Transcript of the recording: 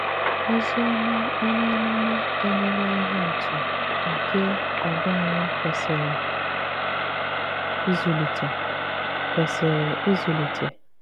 Òzìòmà onye àmùmà ènỳèlà ìhé àtụ̀ nke àgwà ànyị̀ kwesìrè ìzụlìtè. kwesìrè ìzụlìtè.